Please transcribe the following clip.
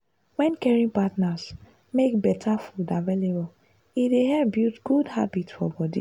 wen caring partners make better food available e dey help build good habit for body.